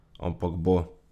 Ampak bo.